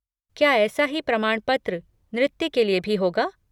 क्या ऐसा ही प्रमाणपत्र नृत्य के लिए भी होगा?